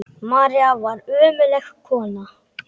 María var einstök kona.